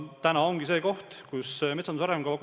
Praegu ongi koostamisel metsanduse arengukava.